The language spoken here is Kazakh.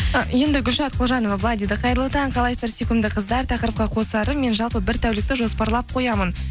ы енді гүлшат құлжанова былай дейді қайырлы таң қалайсыздар сүйкімді қыздар тақырыпқа қосарым мен жалпы бір тәулікті жоспарлар қоямын